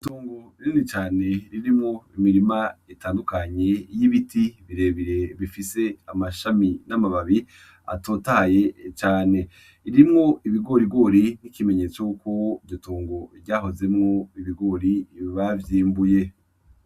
Tongo rinini cane ririmwo imirima itandukanye y'ibiti birebire bifise amashami n'amababi atotahaye cane ririmwo ibigorigori n'ikimenyetso ko iryo tongo ryahozemwo ibigori bavyimbuye.